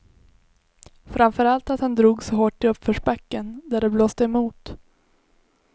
Framför allt att han drog så hårt i uppförsbacken, där det blåste emot.